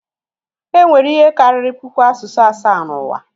Enwere ihe karịrị puku asụsụ asaa n'ụwa